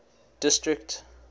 district